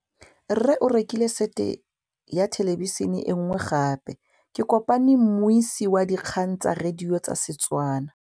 Rre o rekile sete ya thêlêbišênê e nngwe gape. Ke kopane mmuisi w dikgang tsa radio tsa Setswana.